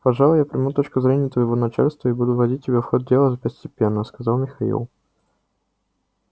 пожалуй я приму точку зрения твоего начальства и буду вводить тебя в ход дела постепенно сказал михаил